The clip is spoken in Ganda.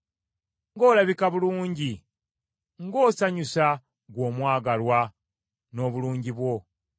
Ng’olabika bulungi, ng’osanyusa ggwe omwagalwa n’obulungi bwo.